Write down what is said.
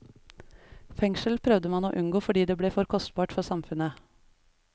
Fengsel prøvde man å unngå fordi det ble for kostbart for samfunnet.